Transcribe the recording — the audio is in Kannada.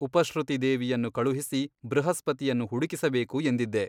ಉಪಶ್ರುತಿ ದೇವಿಯನ್ನು ಕಳುಹಿಸಿ ಬೃಹಸ್ಪತಿಯನ್ನು ಹುಡುಕಿಸಬೇಕು ಎಂದಿದ್ದೆ.